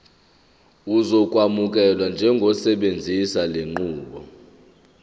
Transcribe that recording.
uzokwamukelwa njengosebenzisa lenqubo